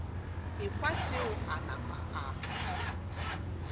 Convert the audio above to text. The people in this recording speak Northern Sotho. ekwa tšeo a napa a